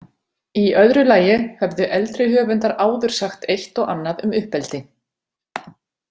Í öðru lagi höfðu eldri höfundar áður sagt eitt og annað um uppeldi.